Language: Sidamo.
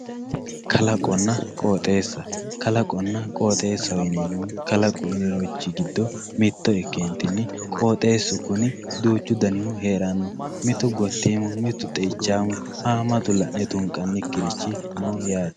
Kalaqonna qooxxeessa, kalaqonna qooxxeessaho yineemohu kalaqu uuyinonirichi gido mito ikkentinni qooxxeessu kuni duuchu danihu heeranno mitu gottiimu mitu xee'ichaamu haamatu la'ne tunqanikkiri heeranno yaate